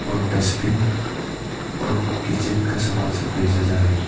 और डस्टबिन और किचन का सामान सब बेचा जा रहा है।